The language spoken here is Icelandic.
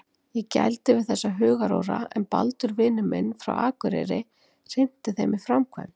Ég gældi við þessa hugaróra en Baldur vinur minn frá akureyri hrinti þeim í framkvæmd.